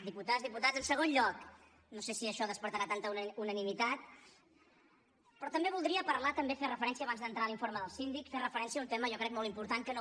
diputades diputats en segon lloc no sé si això despertarà tanta unanimitat però també voldria parlar també fer referència abans d’entrar a l’informe del síndic a un tema jo crec molt important que no